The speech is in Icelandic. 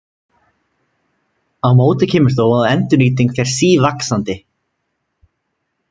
Á móti kemur þó að endurnýting fer sívaxandi.